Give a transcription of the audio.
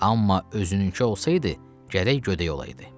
Amma özününkü olsaydı, gərək gödək olaydı.